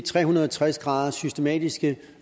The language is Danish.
tre hundrede og tres graders systematiske